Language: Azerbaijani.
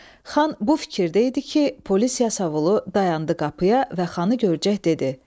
Xan bu fikirdə idi ki, polis yasavulu dayandı qapıya və xanı görcək dedi.